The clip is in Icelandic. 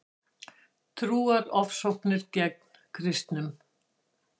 Trúarofsóknir gegn kristnum